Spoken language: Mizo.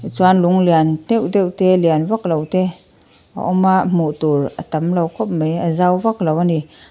chuan lung lian deuh deuh te lian vak lo te a awm a hmuh tur a tam lo khawp mai a zau vak lo a ni.